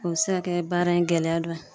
O be se ka kɛ baara in gɛlɛya dɔ ye